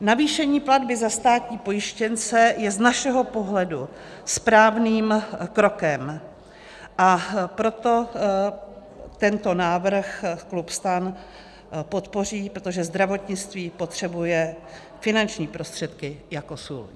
Navýšení platby za státní pojištěnce je z našeho pohledu správným krokem, a proto tento návrh klub STAN podpoří, protože zdravotnictví potřebuje finanční prostředky jako sůl.